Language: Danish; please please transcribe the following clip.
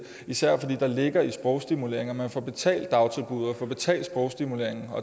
især fordi der ligger i sprogstimuleringen at de får betalt dagtilbuddet og får betalt for sprogstimuleringen